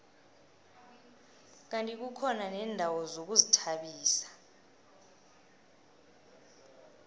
kandi kukhona neendawo zokuzithabisa